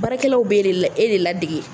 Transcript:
Baarakɛlaw be e de ladege